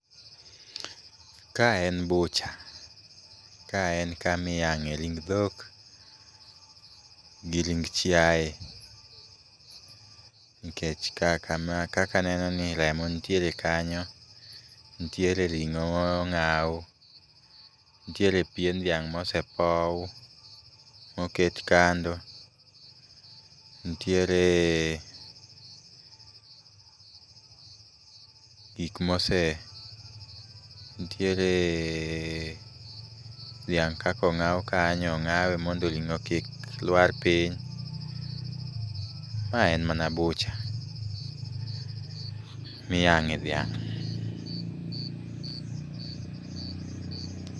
Ka en butcher. Ka en kama iyang'e ring dhok gi ring chiaye, nikech ka kama, kaka anenoni remo nitiere kanyo. Ntiere ring'o mong'aw . Nitiere pien dhiang' mosepow, oket kando. Ntiere gik mose. Nitiere dhiang' kaka ong'aw kanyo, ong'awe mondo ring'o kik lwar piny. Ma en mana butcher miyang'e dhiang'.